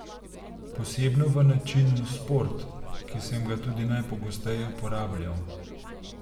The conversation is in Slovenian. Posebno v načinu sport, ki sem ga tudi najpogosteje uporabljal.